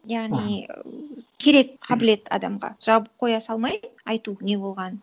яғни керек қабілет адамға жалпы қоя салмай айту не болғанын